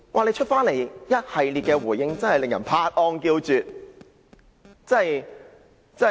他隨後的一系列回應真的叫人拍案叫絕。